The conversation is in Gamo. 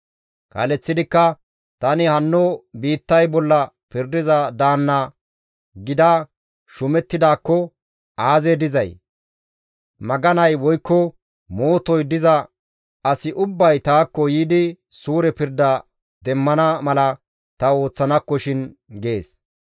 Kaaleththidikka, «Tani hanno biittay bolla pirdiza daanna gida shuumettidaakko aazee dizay? Maganay woykko mootoy diza asi ubbay taakko yiidi suure pirda demmana mala ta ooththanakkoshin» gees.